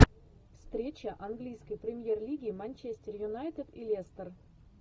встреча английской премьер лиги манчестер юнайтед и лестер